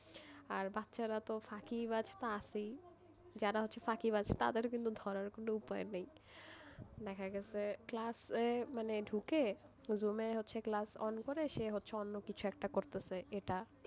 আর বাচ্চারা তো ফাঁকিবাজ তো আছেই, যারা হচ্ছে ফাঁকিবাজ তাদের কিন্তু ধরার কোন উপায় নেই দেখা গেছে ক্লাসে মানে ঢুকেই zoom হচ্ছে class on করে সে অন্য কিছু একটা করতেছে এটা,